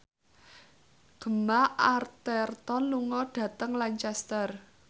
Gemma Arterton lunga dhateng Lancaster